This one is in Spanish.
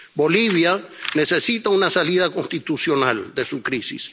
Bolivia necesita una salida constitucional de su crisis.